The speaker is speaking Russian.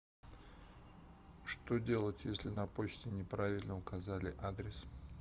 что делать если на почте не правильно указали адрес